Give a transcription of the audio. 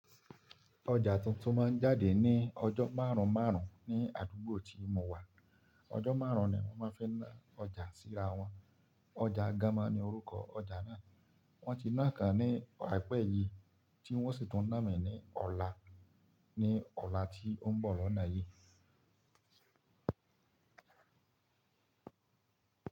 Ọjà tuntun máa jáde ní ọjọ́ márùnún márùnún ní àdúgbò tí mo wà. Ọjọ́ márùnún ni wọ́n máa fí na ọjà síra wọn. Ọjà Gámá ni orúkọ ọjà náà. Wọ́n ti náà ká ní àìpẹ́ yìí tí wọ́n sì tún nà mí ní ọ̀la ní ọ̀la tí ó ń bọ̀ lọ́nà yìí.